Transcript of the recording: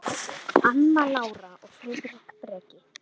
Anna Lára og Friðrik Breki.